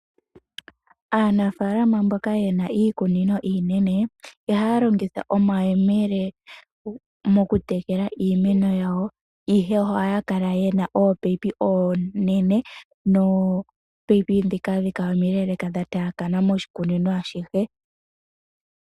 Aanafaalama mboka ye na iikunino iinene, iha ya longitha omayemele mokutekela iimeno yawo, ihe oha ya kala ye na ominino ominene ndhoka ha dhi kala omileleka, dha taakana moshikunino ashihe.